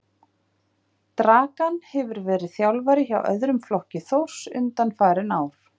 Dragan hefur verið þjálfari hjá öðrum flokki Þórs undanfarin ár.